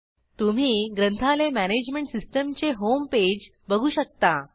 तुम्ही ग्रंथालय मॅनेजमेंट सिस्टीमचे होम पेज बघू शकता